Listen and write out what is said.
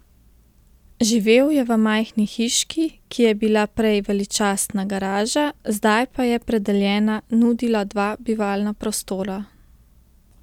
Živel je v majhni hiški, ki je bila prej veličastna garaža, zdaj pa je predeljena nudila dva bivalna prostora.